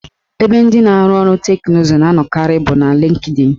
Ebe ndị na-arụ ọrụ teknụzụ na anọkarị bụ na Lịnkdịn